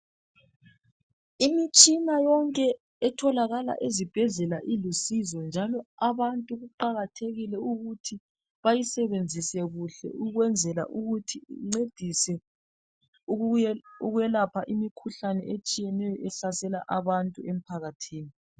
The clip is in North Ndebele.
Imitshina yonke etholakala ezibhedlela ilusizo njalo abantu kuqakathekile ukuthi beyisebenzise kuhle ukwenzela ukuthi incedise ukuye ukwelapha imikhuhlane etshiyeneyo ehlasela abantu emphakathini.